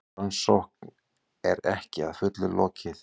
Rannsókn er ekki að fullu lokið